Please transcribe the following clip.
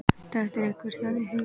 Dettur einhverjum það í hug?